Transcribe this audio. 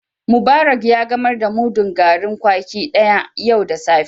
Mubarak ya gamar da mudun garin kwaki daya yau da safe.